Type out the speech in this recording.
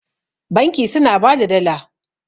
banki suna ba da Dala